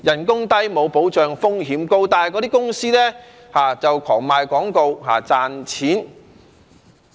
工資低、沒有保障、風險高，但那些公司卻大賣廣告、賺錢。